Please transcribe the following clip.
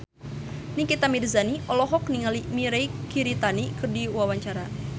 Nikita Mirzani olohok ningali Mirei Kiritani keur diwawancara